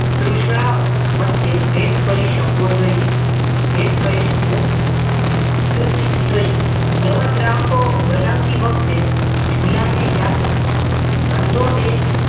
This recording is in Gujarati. તૂષ્ણ વચ્ચે ભેદ કરી સકવો જોઈએ ભેદ કરી સકવો જોઈએ નવા ગ્રાહકો બનાવતી વખતે જૂનાને યાદ રાખવા ધંધો એ